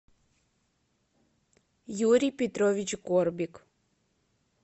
юрий петрович горбик